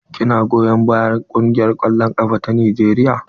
Ki na goyon bayan kungiyar kwallon ƙafa na Najeriya?